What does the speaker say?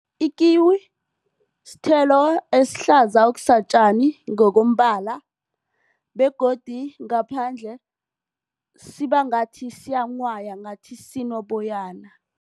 I-kiwi sithelo esihlaza okusatjani ngokombala begodu ngaphandle sibangathi siyanghwaya ngathi sinoboyana.